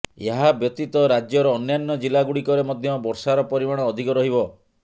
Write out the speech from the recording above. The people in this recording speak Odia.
ଏହା ବ୍ୟତୀତ ରାଜ୍ୟର ଅନ୍ୟାନ୍ୟ ଜିଲ୍ଲାଗୁଡ଼ିକରେ ମଧ୍ୟ ବର୍ଷାର ପରିମାଣ ଅଧିକ ରହିବ